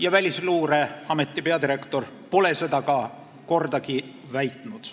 ja Välisluureameti peadirektor pole seda ka kordagi väitnud.